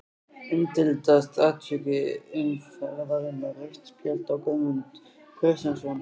Umdeildasta atvik umferðarinnar: Rautt spjald á Guðmund Kristjánsson?